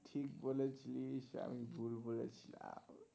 ঠিক বলেছিস, আমি ভুল বলেছি.